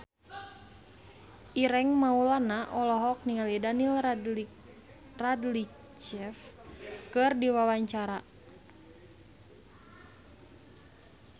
Ireng Maulana olohok ningali Daniel Radcliffe keur diwawancara